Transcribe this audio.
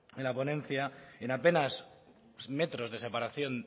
en la ponencia en apenas metros de separación